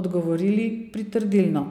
odgovorili pritrdilno.